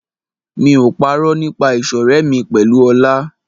Mi ò parọ́ nípa ìṣọ̀rẹ́ mi pẹ̀lú Ọlá.